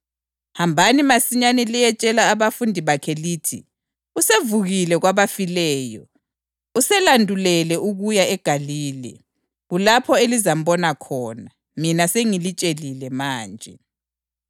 Hambani masinyane liyetshela abafundi bakhe lithi: ‘Usevukile kwabafileyo, uselandulele ukuya eGalile. Kulapho elizambona khona.’ Mina sengilitshelile manje.”